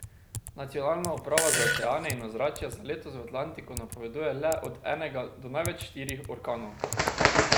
Nacionalna uprava za oceane in ozračje za letos v Atlantiku napoveduje le od enega do največ štirih orkanov.